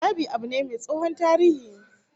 Dab'i abu be mai tsohon tarihi